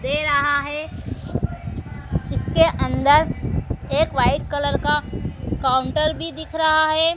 दे रहा है इसके अंदर एक वाइट कलर का काउंटर भी दिख रहा है।